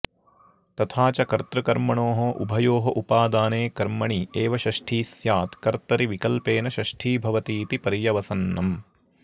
तथा च कर्तृकर्मणोः उभयोः उपादाने कर्मणि एव षष्ठी स्यात् कर्तरि विकल्पेन षष्ठी भवतीति पर्यवसन्नम्